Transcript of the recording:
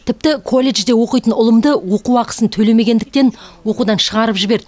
тіпті колледжде оқитын ұлымды оқу ақысын төлемегендіктен оқудан шығарып жіберді